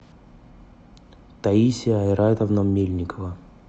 таисия айратовна мельникова